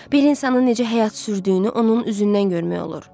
Bir insan necə həyat sürdüyünü onun üzündən görmək olur.